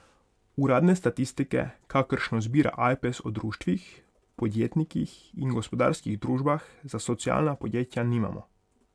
Uradne statistike, kakršno zbira Ajpes o društvih, podjetnikih in gospodarskih družbah, za socialna podjetja nimamo.